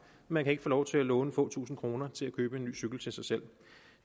man kan ikke få lov til at låne få tusinde kroner til at købe en ny cykel til sig selv